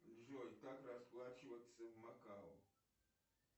джой как расплачиваться в макао